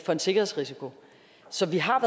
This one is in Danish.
for en sikkerhedsrisiko så vi har